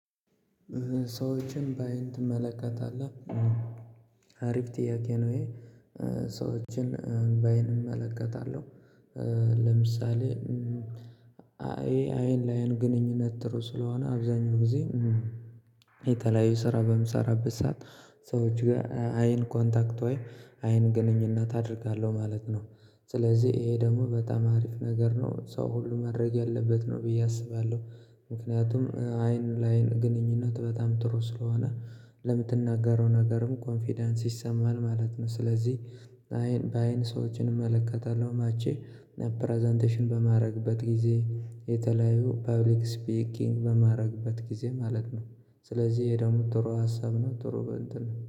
ሰዎችን በአይን ትመለከታለህ አሪፍ ጥያቄ ነው? ሰዎችን በአይን እመለከታለሁ። ለምሳሌ አይ አይን ለአይን ግንኙነት ጥሩ ስለሆነ አብዛኛው ጊዜ የተለያዩ ስራ በምሰራበት ሰዓት ሰዎች ጋር አይን ኮንታክት ወይ አይን ግንኙነት አደርጋለሁ ማለት ነው። ስለዚህ ይሄ ደግሞ በጣም አሪፍ ነገር ነው ሰው ሁሉ ማድረግ ያለበት ነው ብዬ አስባለሁ። ምክንያቱም አይን ለአይን ግንኙነት በጣም ጥሩ ስለሆነ ለምትናገረው ነገርም ኮንፊደንስ ይሰማል ማለት ነው ስለዚህ። በአይን ሰዎችን እመለከታለሁ ማቼ ፕረዘንቴሽን በማድረግበት ጊዜ የተለያዩ ፐብሊክ ስፒኪንግ በማድረግበት ጊዜ ማለት ነው። ስለዚህ ይሄ ደግሞ ጥሩ ሀሳብ ነው ጥሩ እንትን ነው